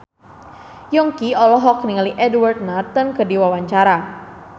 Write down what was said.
Yongki olohok ningali Edward Norton keur diwawancara